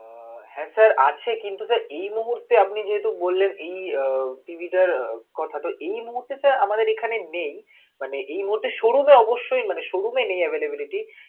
উহ হ্যা sir আছে কিন্তু sir এই মুহূর্তে আপনি যেহেতু বললেন, এই উহ TV টার কথা, তো এই মুহূর্তে তা আমাদের কাছে নেই, মানে এই মুহূর্তে showroom অবশ্যই মানে showroom এ নেই avialibility